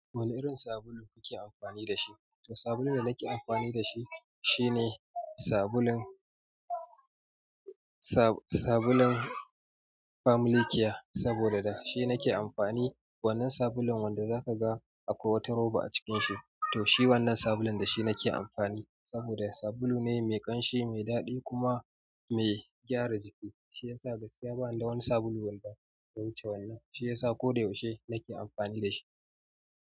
Wane irin sabulu kuke amfani da shi? To sabulun da nake amfani da shi, shine sabulun, sabulun Family Care saboda da shi nake amfani. Wannan sabulun wanda zaka ga akwai wata roba a cikin shi. To shi wannan sabulun da shi nake amfani saboda sabulu ne mai ƙanshi, mai daɗi kuma mai gyara jiki. Shi ya sa gaskiya banida wani sabulu wanda ya wuce wannan. Shi ya sa ko da yaushe nake amfani da shi.